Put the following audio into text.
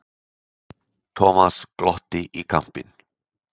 Thomas glotti í kampinn.